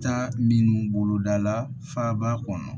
Taa minnu boloda la faba kɔnɔ